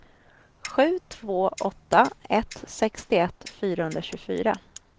sju två åtta ett sextioett fyrahundratjugofyra